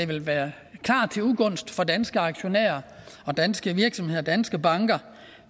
vil være til ugunst for danske aktionærer og danske virksomheder og danske banker